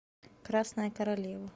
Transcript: красная королева